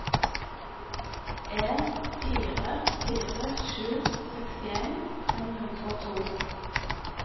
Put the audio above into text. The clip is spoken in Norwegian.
en fire fire sju sekstien fem hundre og to